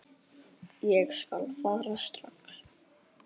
Ég skal fara strax.